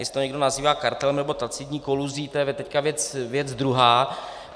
Jestli to někdo nazývá kartelem nebo tacitní koluzí, to je teď věc druhá.